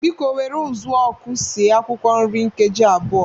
Biko were ụzụọkụ sie akwụkwọ nri nkeji abụọ.